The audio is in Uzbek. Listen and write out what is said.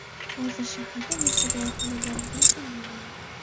Hozir shaharda nechta dorixona borligini ham bilmayman.